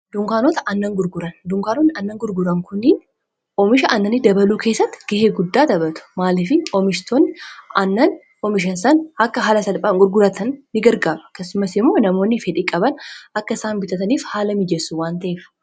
nagrgdunkaanoonn annan gurgroomisha annani dabaluu keessatti gahee guddaa dabatu maalifii oomishtoonn mhsan akka haala salphaan gurguratan ini gargaaba kasumas imoo namoonni fedhii qaban akka isaan bitataniif haala miijessu waanta'efa